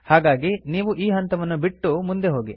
ಹಾಗಾಗಿ ನೀವು ಈ ಹಂತವನ್ನು ಬಿಟ್ಟು ಮುಂದೆ ಹೋಗಿ